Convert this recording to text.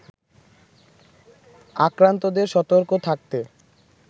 আক্রান্তদের সতর্ক থাকতে